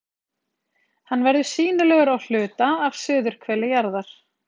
Hann verður sýnilegur á hluta af suðurhveli jarðar.